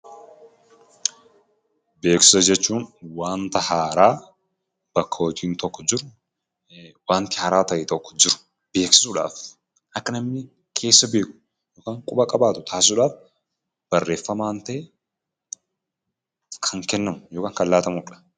Beeksisa jechuun wanta haaraa bakka hojiin tokko jiru, wanti haaraa ta'e tokko jiru beeksisuudhaaf; akka namni keessa beeku yookiin quba qabaatu taasisuudhaaf barreeffamaan ta'ee kan kennamu yookaan laatamudha.